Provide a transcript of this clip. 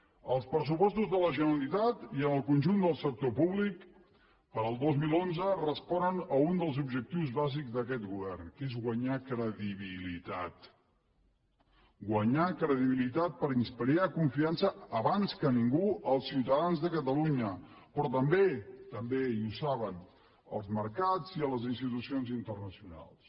els pressupostos de la generalitat i en el conjunt del sector públic per al dos mil onze responen a un dels objectius bàsics d’aquest govern que és guanyar credibilitat guanyar credibilitat per inspirar confiança abans que a ningú als ciutadans de catalunya però també també i ho saben als mercats i a les institucions internacionals